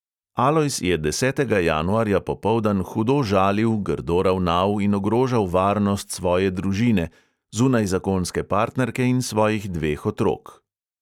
Alojz je desetega januarja popoldan hudo žalil, grdo ravnal in ogrožal varnost svoje družine – zunajzakonske partnerke in svojih dveh otrok.